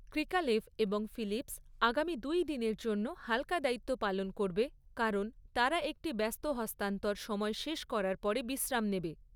Krikalev এবং Phillips আগামী দুই দিনের জন্য হালকা দায়িত্ব পালন করবে, কারণ তারা একটি ব্যস্ত হস্তান্তর সময় শেষ করার পরে বিশ্রাম নেবে।